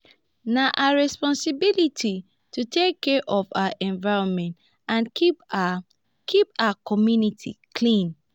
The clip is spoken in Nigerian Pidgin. na our responsibility to take care of our environment and keep our keep our community clean.